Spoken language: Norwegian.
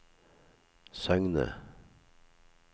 Søgne